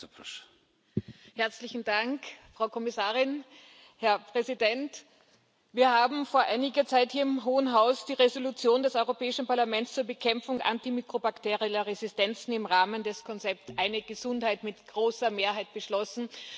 Herr Präsident! Herzlichen Dank, Frau Kommissarin! Wir haben vor einiger Zeit hier im Hohen Haus die Entschließung des Europäischen Parlaments zur Bekämpfung antimikrobakterieller Resistenzen im Rahmen des Konzepts Eine Gesundheit mit großer Mehrheit beschlossen.